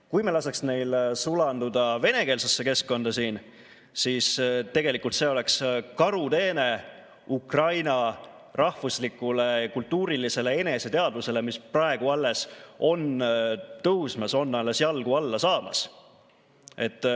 Kui me laseks neil sulanduda venekeelsesse keskkonda, siis tegelikult see oleks karuteene Ukraina rahvuslikule ja kultuurilisele eneseteadvusele, mis on praegu alles tõusmas, on alles jalgu alla saamas.